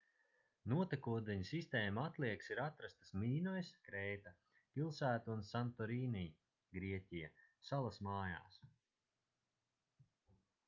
notekūdeņu sistēmu atliekas ir atrastas mīnojas krēta pilsētu un santorini grieķija salas mājās